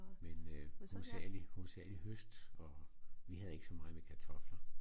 Men øh hovedsagelig hovedsagelig høst og vi havde ikke så meget med kartofler